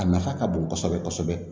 A nafa ka bon kosɛbɛ kosɛbɛ